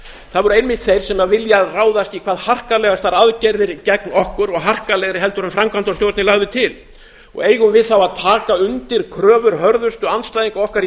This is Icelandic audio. það voru einmitt þeir sem vilja ráðast í hvað harkalegastar aðgerðir gegn okkur og harkalegri en framkvæmdastjórnin lagði til eigum við þá að taka undir kröfur hörðustu andstæðinga okkar í